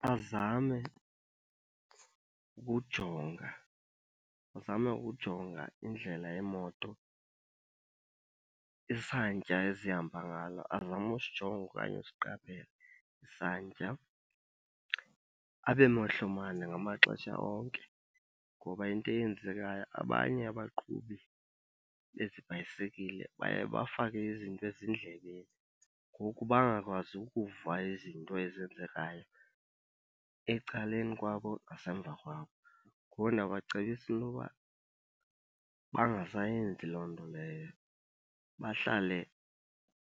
Bazame ukujonga, bazame ukujonga indlela yeemoto, isantya ezihamba ngalo, azame usijonga okanye usiqaphela isantya. Abe mehlo mane ngamaxesha onke ngoba into eyenzekayo abanye abaqhubi bezi bhayisekile baye bafake izinto ezindlebeni ngoku bangakwazi ukuva izinto ezenzekayo ecaleni kwabo nasemva kwabo. Ngoku ndiyabacebisa into yoba bangasayenzi loo nto leyo, bahlale